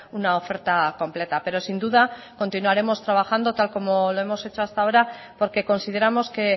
una oferta completa pero sin duda continuaremos trabajando tal como lo hemos hecho hasta ahora porque consideramos que